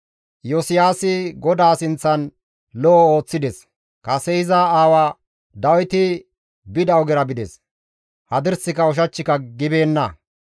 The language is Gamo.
Iyosiyaasi GODAA sinththan lo7o ooththides; kase iza aawa Dawiti bida ogera bides; hadirsika ushachchika gibeenna.